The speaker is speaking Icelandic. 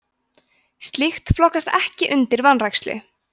slíkt flokkast ekki undir vanrækslu